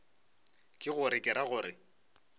ke gore ke ra gore